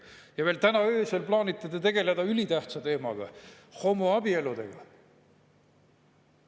Ja veel täna öösel plaanite te tegeleda ülitähtsa teemaga, homoabieludega.